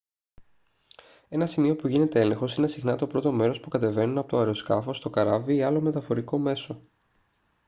ένα σημείο που γίνεται έλεγχος είναι συχνά το πρώτο μέρος που κατεβαίνουν από το αεροσκάφος το καράβι ή άλλο μεταφορικό μέσο